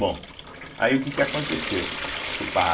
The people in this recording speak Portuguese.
Bom, aí o que que aconteceu?